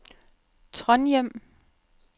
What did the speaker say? Trondhjem